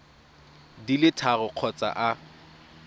di le tharo kgotsa a